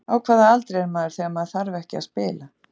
Á hvaða aldri er maður þegar maður þarf ekki að spila?